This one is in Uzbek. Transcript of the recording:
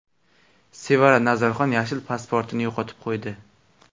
Sevara Nazarxon yashil pasportini yo‘qotib qo‘ydi.